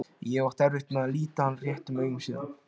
Ég hef átt erfitt með að líta hann réttum augum síðan.